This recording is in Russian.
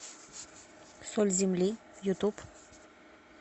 соль земли ютуб